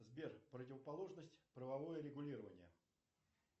сбер противоположность правовое регулирование